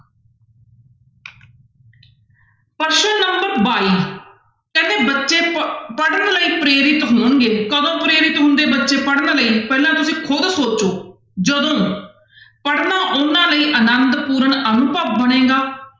ਪ੍ਰਸ਼ਨ number ਬਾਈ ਕਹਿੰਦੇ ਬੱਚੇ ਪ~ ਪੜ੍ਹਨ ਲਈ ਪ੍ਰੇਰਿਤ ਹੋਣਗੇ ਕਦੋਂ ਪ੍ਰੇਰਿਤ ਹੁੰਦੇ ਬੱਚੇ ਪੜ੍ਹਨ ਲਈ ਪਹਿਲਾਂ ਤੁਸੀਂ ਖੁੱਦ ਸੋਚੋ ਜਦੋਂ ਪੜ੍ਹਨਾ ਉਹਨਾਂ ਲਈ ਆਨੰਦਪੂਰਨ ਅਨੁਭਵ ਬਣੇਗਾ,